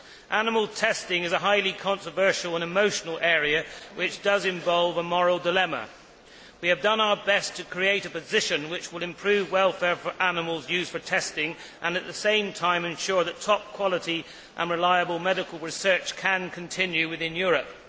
Animal testing is a highly controversial and emotional area which does involve a moral dilemma. We have done our best to create a position which will improve welfare for animals used for testing and, at the same time, ensure that top quality and reliable medical research can continue within Europe.